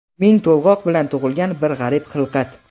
ming to‘lg‘oq bilan tug‘ilgan bir g‘arib xilqat.